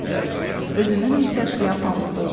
Özümün isə şlyapam olmur.